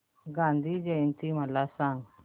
गांधी जयंती मला सांग